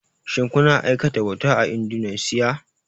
Shin kuna aikata bauta a Indunusiya?